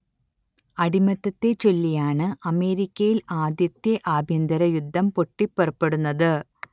അടിമത്തത്തെച്ചൊല്ലിയാണ് അമേരിക്കയിൽ ആദ്യത്തെ ആഭ്യന്തര യുദ്ധം പൊട്ടിപ്പുറപ്പെടുന്നത്